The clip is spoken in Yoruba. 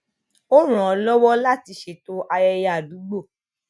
ó ràn án lọwọ láti ṣètò ayẹyẹ àdúgbò